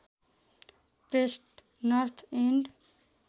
pressed North end